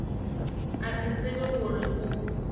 a se tsebe gore o